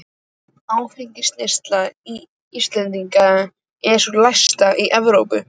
Áfengisneysla Íslendinga er sú lægsta í Evrópu.